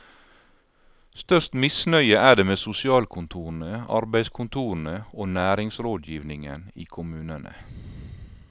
Størst misnøye er det med sosialkontorene, arbeidskontorene og næringsrådgivningen i kommunene.